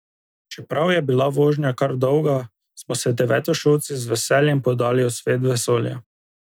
Čeprav je bila vožnja kar dolga smo se devetošolci z veseljem podali v svet vesolja.